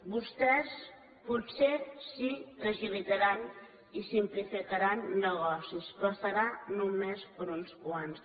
vostès potser sí que agilitaran i simplificaran negocis però serà només per a uns quants